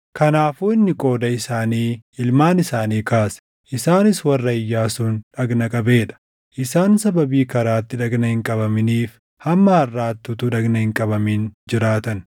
Kanaafuu inni qooda isaanii ilmaan isaanii kaase; isaanis warra Iyyaasuun dhagna qabee dha. Isaan sababii karaatti dhagna hin qabaminiif hamma harʼaatti utuu dhagna hin qabamin jiraatan.